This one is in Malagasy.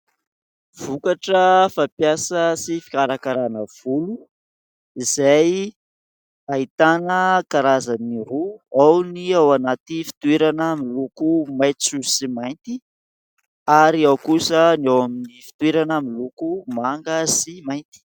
Vokatra fampiasa sy fikarakarana volo izay ahitana karazany roa : ao ny ao anaty fitoerana miloko maitso sy mainty ary ao kosa ny ao amin'ny fitoerana miloko manga sy mainty.